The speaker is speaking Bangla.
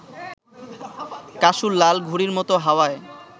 কাসুর লাল ঘুড়ির মত হাওয়ায়